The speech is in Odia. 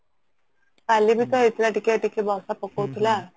କଲି ବି ତ ହେଇଥିଲା ଟିକେ ଟିକେ ବର୍ଷା ପକଉଥିଲା